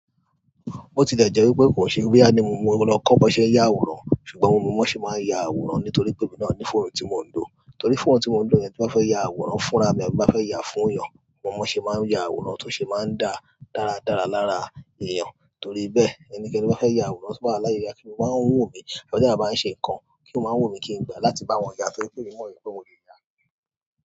bó ti lè jẹ́ wípé kò ṣe boyá ní mo lọ kọ́ bọ́ ṣẹ̀ n ya àwòrán, ṣùgbọ́n mo mọ bo ṣe máa ń ya àwòrán nítorí pé mò ma ní fóònù tí mò ń lò. Torí fóònù tí mò ń lò yẹn tí n bá fẹ́ ya àwòrán fúnra mi àbí ti n bá fẹ́ ya fún èèyàn, mo mọ bo ṣe máa ń ya àwòrán tó ṣe máa ń dá dáradára lára èèyàn. Torí bẹ́ẹ̀, ẹnikẹni to bá fẹ́ ya àwòrán bá láyé yá tí mó báa ń wu mí, ọ̀ teeyán má ń ṣe nǹkan, ó máa wun mí kí n gbà láti bá wọn yà á tó ri pè emí mọ̀ wí pé mo lè ya.